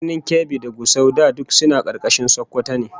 Birnin Kebbi da Gusau da duk suna karkashin Sokoto ne